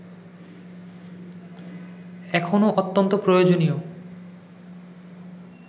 এখনো অত্যন্ত প্রয়োজনীয়